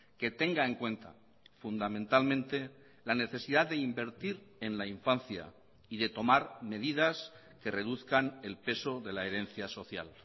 que tenga en cuenta fundamentalmente la necesidad de invertir en la infancia y de tomar medidas que reduzcan el peso de la herencia social